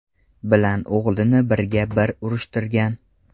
bilan o‘g‘lini birga-bir urushtirgan.